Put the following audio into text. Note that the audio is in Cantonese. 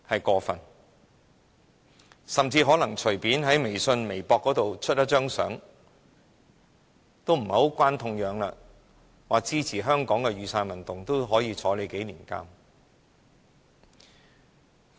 更甚者，任何人隨便在微信或微博發放一張無關痛癢的圖片，表示支持香港的雨傘運動，都可能被監禁數年。